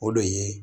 O de ye